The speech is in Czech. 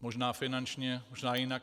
Možná finančně, možná jinak.